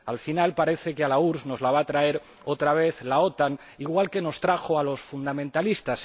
Al final, parece que a la URSS nos la va a traer, otra vez, la OTAN, igual que nos trajo a los fundamentalistas.